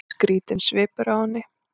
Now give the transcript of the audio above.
Skrýtinn svipur á henni.